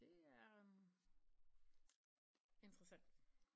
Det er interessant